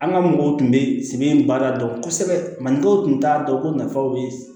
An ka mɔgɔw tun bɛ sɛbɛn baara dɔn kosɛbɛ mali dɔw tun t'a dɔn ko nafaw bɛ